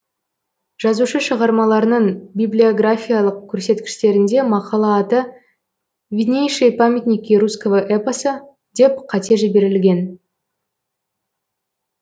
жазушы шығармаларының библиографиялық көрсеткіштерінде мақала аты виднейшие памятники русского эпоса деп қате жіберілген